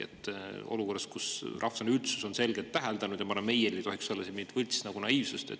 Olukorras, kus rahvusvaheline üldsus on seda selgelt täheldanud, ei tohiks meil olla mingit võltsnaiivsust.